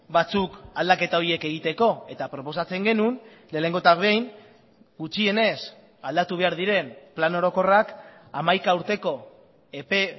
batzuk aldaketa horiek egiteko eta proposatzen genuen lehenengo eta behin gutxienez aldatu behar diren plan orokorrak hamaika urteko epe